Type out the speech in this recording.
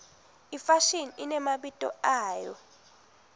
ifashini inemabito ayo